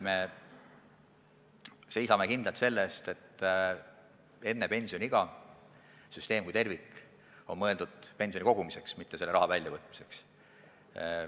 Me seisame kindlalt selle eest, et enne pensioniiga oleks see süsteem kui tervik mõeldud pensioni kogumiseks, mitte selle raha väljavõtmiseks.